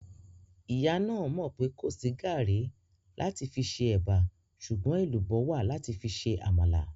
Ìyá náà mọ̀ pé kò sí gàrí láti fi se ẹ̀bà sùgbọ́n èlùbọ́ wà láti fi se àmàlà